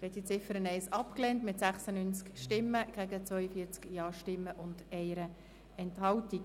Sie haben die Ziffer 1 abgelehnt mit 96 Nein- zu 42 Ja-Stimmen, ohne Enthaltungen.